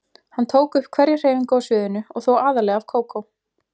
Hann tók upp hverja hreyfingu á sviðinu og þó aðallega af Kókó.